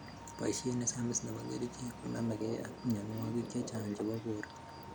Boisiet nesamis nebo kerchek konamekei ak mnyonwogik chechang chebo borto